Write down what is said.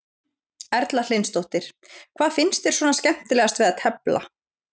Erla Hlynsdóttir: Hvað finnst þér svona skemmtilegast við að tefla?